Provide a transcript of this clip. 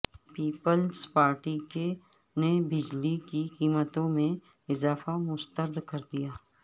Peoples Party نے بجلی کی قیمتوں میں اضافہ مسترد کردیا